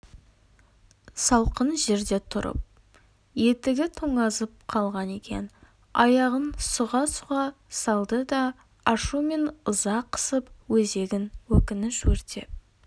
салқын жерде тұрып етігі тоңазып қалған екен аяғын сұға-сұға салды да ашу мен ыза қысып өзегін өкініш өртеп